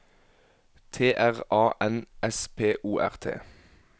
T R A N S P O R T